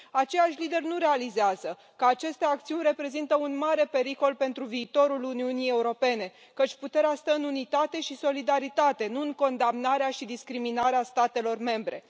Aceiași lideri nu realizează că aceste acțiuni reprezintă un mare pericol pentru viitorul Uniunii Europene, căci puterea stă în unitate și solidaritate, nu în condamnarea și discriminarea statelor membre.